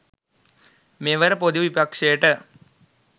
මෙවර ‍පොදු විපක්ෂයට